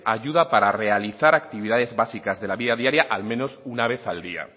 ayuda para realizar actividades básicas de la vida diaria al menos una vez al día